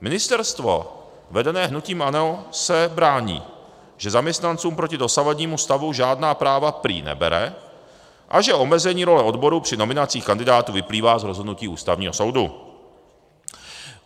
Ministerstvo vedené hnutím ANO se brání, že zaměstnancům proti dosavadnímu stavu žádná práva prý nebere a že omezení role odborů při nominacích kandidátů vyplývá z rozhodnutí Ústavního soudu.